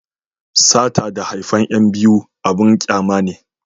sata da haifan yan biyu abun kyama ne